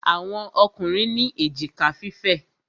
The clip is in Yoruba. Àwọn Ọkùnrin ní èjìká fífẹ̀.